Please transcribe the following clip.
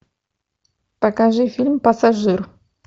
покажи фильм пассажир